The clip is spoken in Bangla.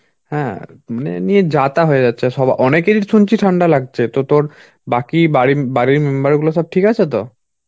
হ্যাঁ মানে নিয়ে যাতা হয়ে যাচ্ছে সবা~ অনেকেরই শুনছি ঠান্ডা লাগছে, তো তোর বাকি বাড়ি~ বাড়ির member গুলো সব ঠিক আছে তো?